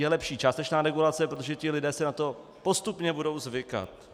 Je lepší částečná regulace, protože ti lidé si na to postupně budou zvykat.